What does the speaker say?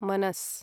मनस्